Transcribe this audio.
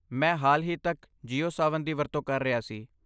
ਮੈਂ ਹਾਲ ਹੀ ਤੱਕ ਜੀਓ ਸਾਵਨ ਦੀ ਵਰਤੋਂ ਕਰ ਰਿਹਾ ਸੀ।